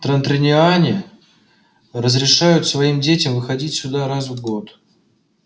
транториане разрешают своим детям выходить сюда раз в год